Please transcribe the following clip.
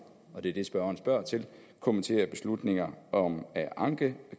og det er det spørgeren spørger til kommentere beslutninger om at anke